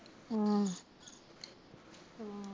ਹਾਂ